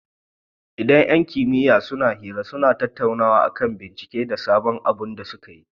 Idan yan kimiya suna hira, suna tattaunawa akan binciken da sabon abun da sukeyi